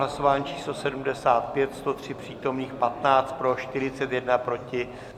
Hlasování číslo 75, 103 přítomných, 15 pro, 41 proti.